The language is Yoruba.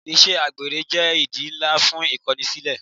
Ìṣe àgbèrè jẹ́ ìdí ńlá fún Ìkọnisílẹ́.